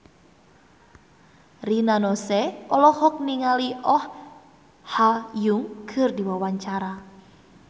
Rina Nose olohok ningali Oh Ha Young keur diwawancara